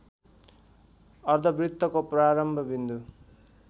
अर्द्धवृत्तको प्रारम्भ विन्दु